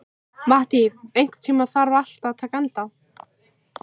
Mattý, einhvern tímann þarf allt að taka enda.